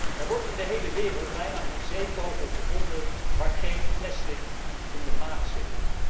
Er wordt in de hele wereld bijna geen zeevogel gevonden, waar geen plastic in de maag zit.